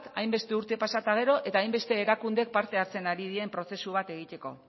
hainbeste urte pasa eta gero eta hainbeste erakundek parte hartzen ari diren prozesu bat egiteko